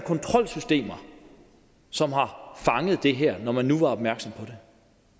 kontrolsystemer som har fanget det her når man nu var opmærksom